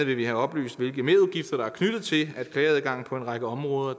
vil vi have oplyst hvilke merudgifter der er knyttet til at klageadgangen på en række områder